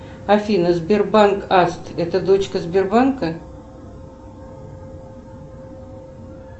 афина сбербанк аст это дочка сбербанка